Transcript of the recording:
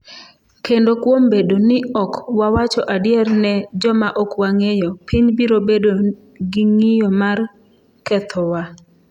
"Kendo kuom bedo ni ok wawacho adier ne joma ok wang'eyo, piny biro bedo gi ng'iyo mar kethowa?"""